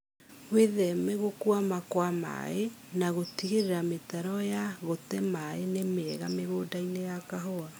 Wĩtheme gũkwama kwa maĩĩ na gũtigĩrĩra mĩtaro ya gũte maĩĩ nĩ mĩega mũgũndainĩ wa kahũa